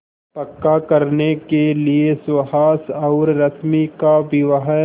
पक्का करने के लिए सुहास और रश्मि का विवाह